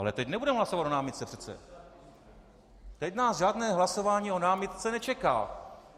Ale teď nebudeme hlasovat o námitce přece, teď nás žádné hlasování o námitce nečeká.